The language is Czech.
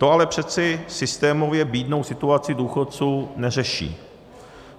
To ale přece systémově bídnou situaci důchodců neřeší.